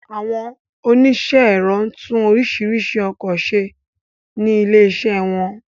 Àwọn oníṣẹ́ ẹ̀rọ tún oríṣiríṣi ọkọ ṣe ní ilé ìṣe wọn